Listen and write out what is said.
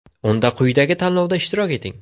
Unda quyidagi tanlovda ishtirok eting!